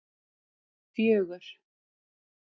fjögur